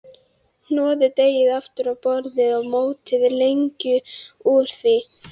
Hnoðið deigið aftur á borði og mótið lengjur úr því.